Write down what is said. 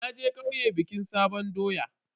Naje kauye bikin sabon doya.